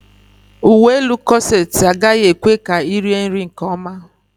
Uwe elu kọset agaghị ekwe ka ị rie nri nkeọma.